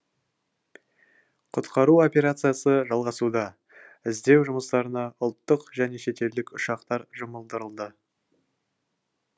құтқару операциясы жалғасуда іздеу жұмыстарына ұлттық және шетелдік ұшақтар жұмылдырылды